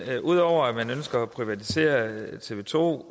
ud over at man ønsker at privatisere tv to